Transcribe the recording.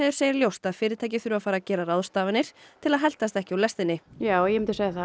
segir ljóst að fyrirtæki þurfi að fara að gera ráðstafanir til að heltast ekki úr lestinni já ég myndi segja það